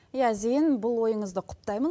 иә зейін бұл ойыңызды құптаймын